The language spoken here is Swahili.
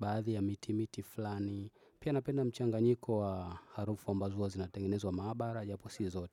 baadhi ya miti miti fulani. Pia napenda mchanganyiko wa harufu ambazo hua zinatengenezwa maabara japo si zote.